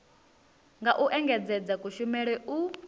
nga u engedzedza kushumele u